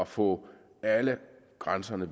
få alle grænserne